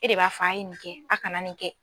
E de b'a f'a ye nin kɛ a' kana nin kɛ.